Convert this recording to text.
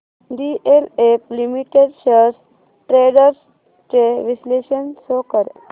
DLF limited shares trends चे विश्लेषण show कर